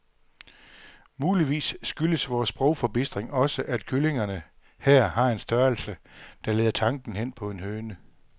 Muligvis skyldes vor sprogforbistring også, at kyllingerne her har en størrelse, der leder tanken hen på en høne.